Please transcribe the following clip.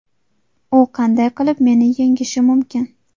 U qanday qilib meni yengishi mumkin?